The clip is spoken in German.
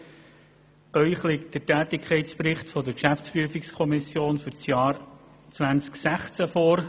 Ihnen liegt der Tätigkeitsbericht der GPK für das Jahr 2016 vor.